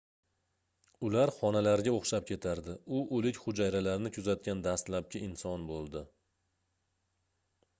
ular xonalarga oʻxshab ketardi u oʻlik hujayralarni kuzatgan dastlabki inson boʻldi